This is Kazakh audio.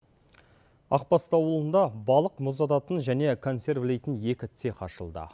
ақбасты ауылында балық мұздататын және консервілейтін екі цех ашылды